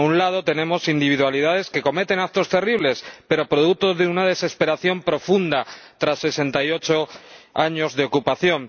A un lado, tenemos individualidades que cometen actos terribles, pero producto de una desesperación profunda, tras sesenta y ocho años de ocupación.